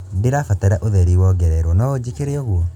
ndĩrabatara ũtheri wongererwo no ũnjĩkĩre ũguo